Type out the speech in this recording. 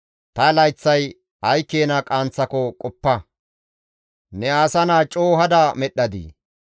Ta layththay ay keena qaanththako qoppa; ne asa naa coo hada medhdhadii!